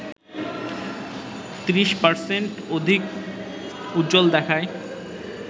৩০% অধিক উজ্জ্বল দেখায়